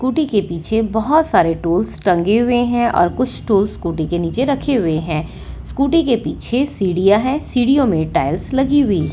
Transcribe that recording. scooty के पीछे बहोत सारे टूल्स टंगे हुए हैं और कुछ टूल्स स्कूटी के नीचे रखे हुए हैं स्कूटी के पीछे सीढ़ियां है सीढ़ीओ में टाइल्स लगी हुई--